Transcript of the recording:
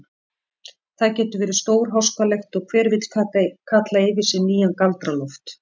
Það getur verið stórháskalegt og hver vill kalla yfir sig nýjan Galdra-Loft.